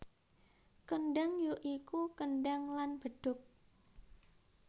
Kendhang ya iku kendhang lan bedhug